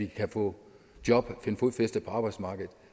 kan få job og finde fodfæste på arbejdsmarkedet